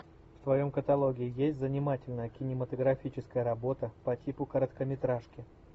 в твоем каталоге есть занимательная кинематографическая работа по типу короткометражки